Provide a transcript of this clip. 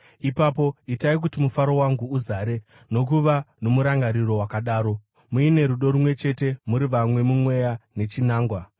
ipapo itai kuti mufaro wangu uzare nokuva nomurangariro wakadaro, muine rudo rumwe chete, muri vamwe mumweya nechinangwa.